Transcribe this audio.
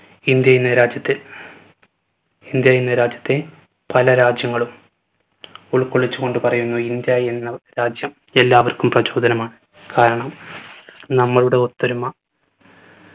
India എന്ന രാജ്യത്തെ India എന്ന രാജ്യത്തെ പല രാജ്യങ്ങളും ഉൾക്കൊള്ളിച്ചുകൊണ്ട് പറയുന്നത് ഇന്ത്യ എന്ന രാജ്യം എല്ലാവർക്കും പ്രചോദനമാണ് കാരണം നമ്മളുടെ ഒത്തൊരുമ